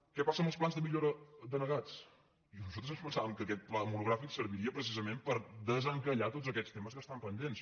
què passa amb els plans de millora denegats nosal·tres ens pensàvem que aquest debat monogràfic servi·ria precisament per desencallar tots aquests temes que estan pendents